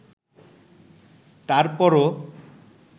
তারপরও